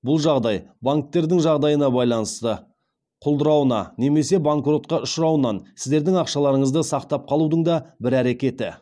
бұл жағдай банктердің жағдайына байланысты құлдырауына немесе банкротқа ұшырауынан сіздердің ақшаларыңызды сақтап қалудың да бір әрекеті